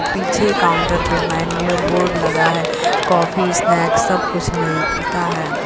पीछे काउंटर पर menu board लगा है कॉफ़ी स्नैक्स सब कुछ मिलता है।